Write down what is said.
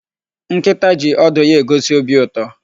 Nkịta ji ọdụ ya egosi obi ụtọ.